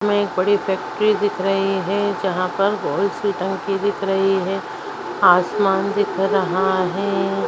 हमे एक बड़ी फेक्ट्री दिख रही है जहां पर गोल सी टंकी दिख रही है। आसमान दिख रहा है।